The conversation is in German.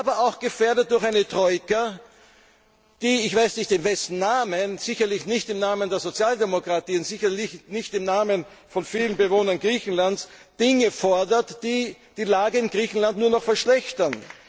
Aber auch gefährdet durch eine Troika, die ich weiss nicht in wessen Namen, sicherlich nicht im Namen der Sozialdemokratie und sicher nicht im Namen von vielen Bewohnern Griechenlands Dinge fordert, die die Lage in Griechenland nur noch verschlechtern.